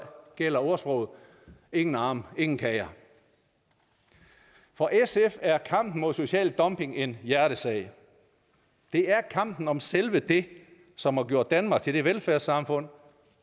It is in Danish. gælder ordsproget ingen arme ingen kager for sf er kampen mod social dumping en hjertesag det er kampen om selve det som har gjort danmark til det velfærdssamfund